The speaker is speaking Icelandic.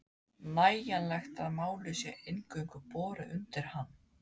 nægjanlegt að málið sé eingöngu borið undir hann.